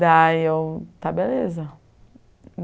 Daí eu... está beleza.